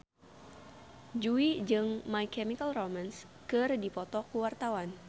Jui jeung My Chemical Romance keur dipoto ku wartawan